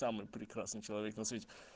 самый прекрасный человек на свете